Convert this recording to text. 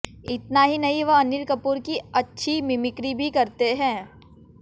इतना ही नहीं वह अनिल कपूर की अच्छी मिमिक्री भी करते हैं